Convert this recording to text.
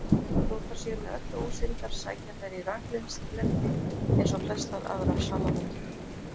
Þó þær séu með öllu ósyndar sækja þær í raklendi eins og flestar aðrar salamöndrur.